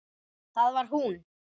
Það var hún.